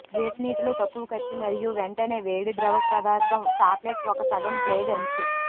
వేడి నీటిలో తక్కువ కత్తి మరియు వెంటనే వేడి ద్రవపదార్థం చాక్లెట్ ఒక సగం బ్లేడ్ అంచు